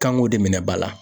Kan k'o de minɛ ba la.